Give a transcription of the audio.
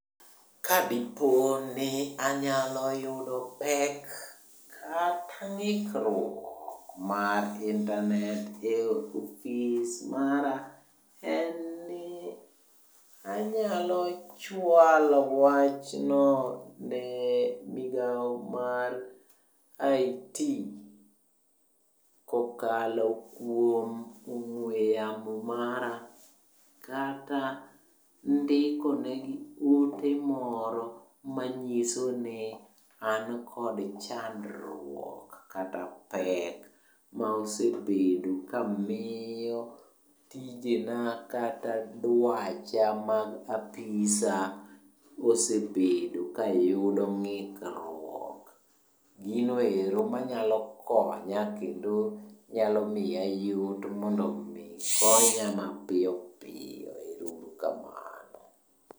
Kadipo ni anyalo yudo pek kata ng'ikruok mar internet e ofis mara, en ni anyalo chwalo wachno ne migao mar IT kokalo kuom ong'we yamo mara. Kata ndikonegi ote moro manyiso ni an kod chandruok kata pek, maosebedo kamiyo tijena kata dwacha mag apisa osebedo kayudo ng'ikruok. Ginoero manyalo konya kendo nyalomiya yot mondo mi konya mapiyo piyo. Ero uru kamano.